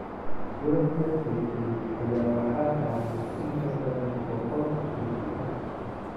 Doonta degtay ayaa waxaa saarnaa in ka badan boqool qaxooti ah.